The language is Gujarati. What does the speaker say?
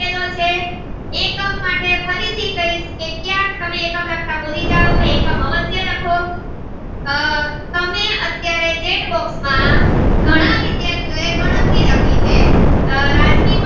થી ક્યાંક એકમ લખતા ભૂલી જાવ તો એકમ અવશ્ય લખો આહ તમે અત્યારે chet box માં ગણરી લખી છે આહ રાજદીપ